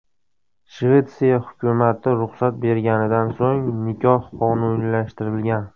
Shvetsiya hukumati ruxsat berganidan so‘ng, nikoh qonuniylashtirilgan.